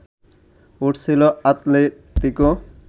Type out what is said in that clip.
উঠেছিল আতলেতিকো